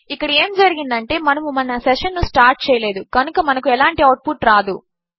ఇక్కడ ఏమి జరిగింది అంటే మనము మన సెషన్ ను స్టార్ట్ చేయలేదు కనుక మనకు ఎలాంటి అవుట్ పుట్ రాదు